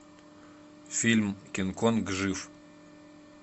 фильм кинг конг жив